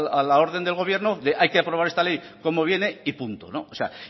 a la orden del gobierno de hay que aprobar esta ley como viene y punto o sea